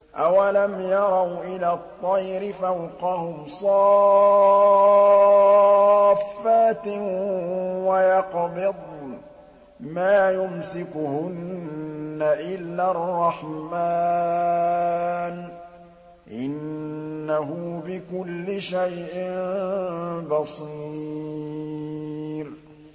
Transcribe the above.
أَوَلَمْ يَرَوْا إِلَى الطَّيْرِ فَوْقَهُمْ صَافَّاتٍ وَيَقْبِضْنَ ۚ مَا يُمْسِكُهُنَّ إِلَّا الرَّحْمَٰنُ ۚ إِنَّهُ بِكُلِّ شَيْءٍ بَصِيرٌ